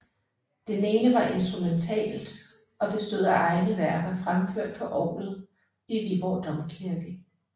Det ene var instrumentalt og bestod af egne værker fremført på orglet i Viborg Domkirke